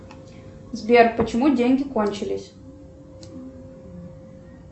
сбер почему деньги кончились